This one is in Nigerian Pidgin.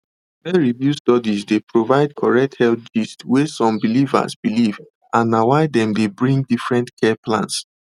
peerreviewed studies dey provide correct health gist wey some believers believe and na why dem dey bring different care plans